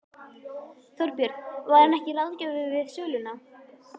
Þorbjörn: Var hann ekki ráðgjafi við söluna?